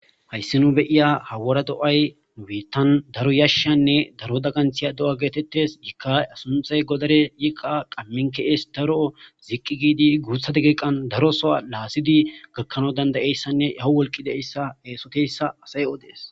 Hays nu be'ya daro wora do'ay nu biitan daro yashan daro dagantiya do'a getetes. Ika a sunhay godare ,Ika qamin ke'es daro ziq giid guuthat deqeqan daro Soho lasi gakanaw danda'iyaysa awu wolqi diyaysa asy odes.